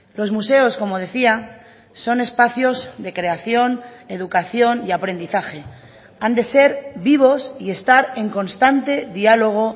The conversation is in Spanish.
los museos como decía son espacios de creación educación y aprendizaje han de ser vivos y estar en constante diálogo